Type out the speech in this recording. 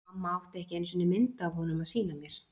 Mamma átti ekki einu sinni mynd af honum að sýna mér.